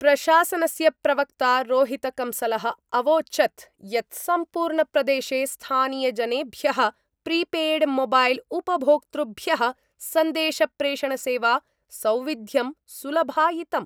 प्रशासनस्य प्रवक्ता रोहितकंसल: अवोचत् यत् सम्पूर्ण प्रदेशे स्थानीयजनेभ्यः प्रीपेयड्मोबैल् उपभोक्तृभ्यः सन्देशप्रेषणसेवा सौविध्यं सुलभायितम्।